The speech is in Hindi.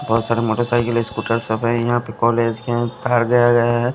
बहोत सारे मोटरसाइकिल स्कूटर सब हैं यहां पे कॉलेज के गया है।